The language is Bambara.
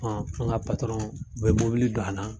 an ka bɛ mobili don a na.